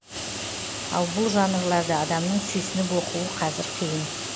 ал бұл жанрларды адамның сүйсініп оқуы қазір қиын